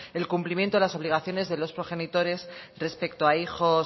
el cumplimiento de las obligaciones de los progenitores respecto a hijos